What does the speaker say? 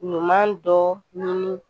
Ɲuman dɔ ɲini